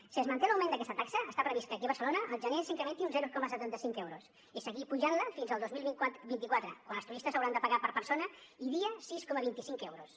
si es manté l’augment d’aquesta taxa està previst que aquí a barcelona el gener s’incrementi un zero coma setanta cinc euros i seguir apujant la fins al dos mil vint quatre quan els turistes hauran de pagar per persona i dia sis coma vint cinc euros